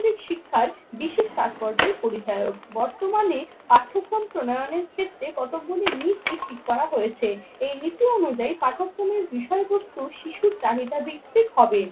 শিক্ষার বিশেষ তাৎপর্যের পরিচালক। বর্তমানে পাঠ্যক্রম প্রণয়নের ক্ষেত্রে কতগুলি নীতি ঠিক করা হয়েছে। এই নীতি অনুযায়ী পাঠক্রমের বিষয়বস্তু শিশুর চাহিদা ভিত্তিক হবে।